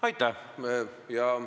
Aitäh!